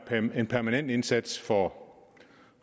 en permanent indsats for